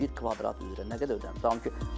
Bir kvadrat üzrə nə qədər ödənilir?